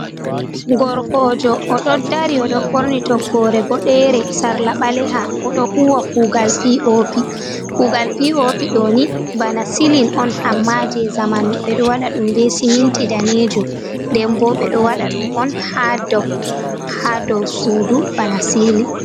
Gorkojo oɗo dari oɗo ɓorni toggore boɗere sarla ɓaleha oɗo huwa kugal pi o pi kugal p o pi ɗo ni bana silin on amma je zamanu ɓeɗo waɗa ɗum be siminti danejum denbo ɓeɗo waɗa ɗum on ha dou ha dou sudu bana sili